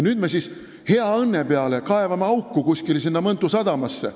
Nüüd me siis hea õnne peale kaevame auku kuskile sinna Mõntu sadamasse.